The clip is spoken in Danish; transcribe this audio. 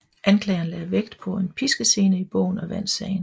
Anklageren lagde vægt på en piskescene i bogen og vandt sagen